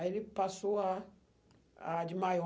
Aí ele passou a a de maior.